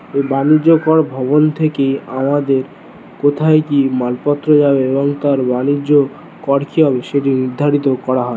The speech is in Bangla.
বাণিজ্যিক কর ভবন থেকে আমাদের কোথায় কি মালপত্র যাবে এবং তার বাণিজ্য করতে হবে সে নির্ধারিত করা ।